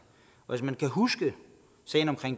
hvis man kan huske sagen